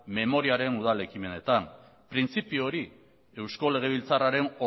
memoriaren udal ekimenetan printzipio hori eusko legebiltzarraren